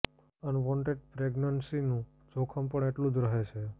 unwanted પ્રેગ્નન્સીનું જોખમ પણ એટલું જ રહે છે